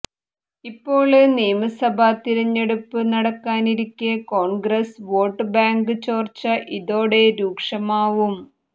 ഇപ്പോള് നിയമസഭാ തിരഞ്ഞെടുപ്പ് നടക്കാനിരിക്കെ കോണ്ഗ്രസ് വോട്ടുബാങ്ക് ചോര്ച്ച ഇതോടെ രൂക്ഷമാവും